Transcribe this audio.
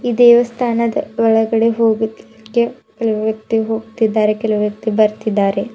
ದೇವಸ್ಥಾನದ ಒಳಗಡೆ ಹೋಗೊದಿಕ್ಕೆ ಕೆಲವು ವ್ಯಕ್ತಿ ಹೋಗ್ತಿದ್ದಾರೆ ಕೆಲವು ವ್ಯಕ್ತಿ ಬರ್ತಿದ್ದಾರೆ.